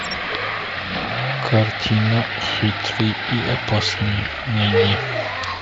картина хитрый и опасный найди